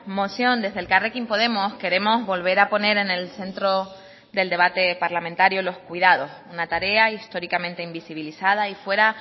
moción desde elkarrekin podemos queremos volver a poner en el centro del debate parlamentario los cuidados una tarea históricamente invisibilizada y fuera